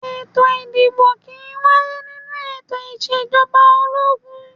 Ètò ìdìbò kì í wáyé nínú ètò Ìṣèjọba ológun